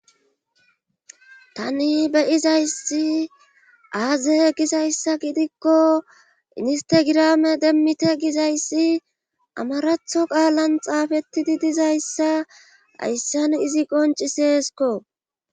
tani beyizayssi aaze gizayssa gidikko instegirame demmite gizayssi amaratho qaalan xaafettidi dizayssa ayssan izi qonci seesko